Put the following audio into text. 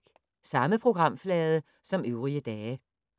Samme programflade som øvrige dage